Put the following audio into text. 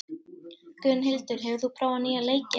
Gunnhildur, hefur þú prófað nýja leikinn?